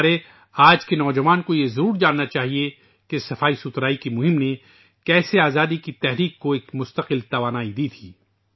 ہمارے آج کے نوجوانوں کو یہ ضرور معلوم ہونا چاہیے کہ کس طرح صفائی مہم نے تحریک آزادی کو ایک مستقل توانائی دی تھی